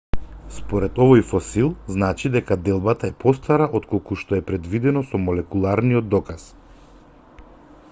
според овој фосил значи дека делбата е постара отколку што е предвидено со молекуларниот доказ